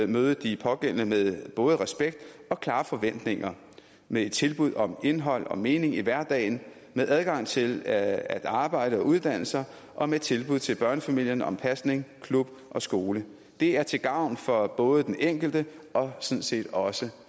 møde de pågældende med både respekt og klare forventninger med et tilbud om indhold og mening i hverdagen med adgang til at arbejde og uddanne sig og med tilbud til børnefamilierne om pasning klub og skole det er til gavn for både den enkelte og sådan set også